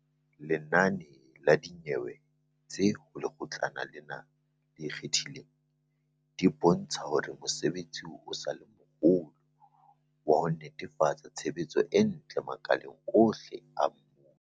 Lenane la dinyewe tse ho Lekgotlana lena le Ikgethileng, di bontsha hore mosebetsi o sa le moholo wa ho netefatsa tshebetso e ntle makaleng ohle a mmuso.